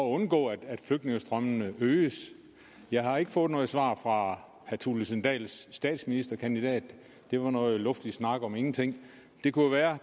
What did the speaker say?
undgå at flygtningestrømmene øges jeg har ikke fået noget svar herre thulesen dahls statsministerkandidat det var noget luftig snak om ingenting det kunne jo være